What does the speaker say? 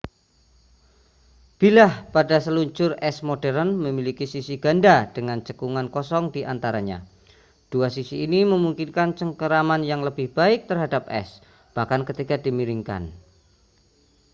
bilah pada seluncur es modern memiliki sisi ganda dengan cekungan kosong diantaranya dua sisi ini memungkinkan cengkeraman yang lebih baik terhadap es bahkan ketika dimiringkan